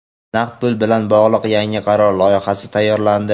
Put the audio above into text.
Naqd pul bilan bog‘liq yangi qaror loyihasi tayyorlandi.